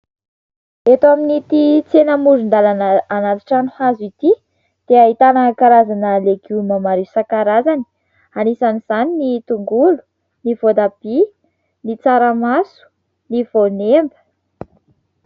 Eto amin'ity tsena amoron-dàlana anaty trano hazo ity dia ahitana karazana legioma maro isan-karazany anisan'izany ny tongolo, ny voatabia, ny tsaramaso, ny voanemba.